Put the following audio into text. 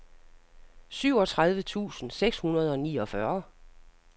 syvogtredive tusind seks hundrede og niogfyrre